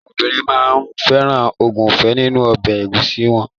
Àwọn obìnrin máa ń fẹ́ràn ògúnfe nínu ọbẹ̀ ẹ̀gúsí wọn.